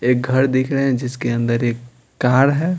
एक घर दिख रहे हैं जिसके अंदर एक कार है।